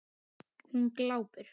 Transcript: Hún glápir.